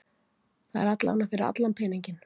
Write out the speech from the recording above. Það er allavega fyrir allan peninginn.